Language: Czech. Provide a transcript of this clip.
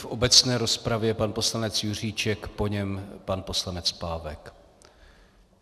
V obecné rozpravě pan poslanec Juříček, po něm pan poslanec Pávek.